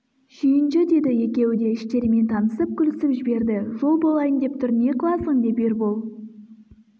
шүйінші деді екеуі де іштерімен танысып күлісіп жіберді жол болайын деп тұр не қыласың деп ербол